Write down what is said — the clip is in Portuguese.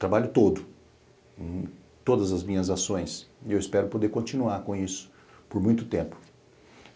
trabalho todo, todas as minhas ações, e eu espero poder continuar com isso por muito tempo.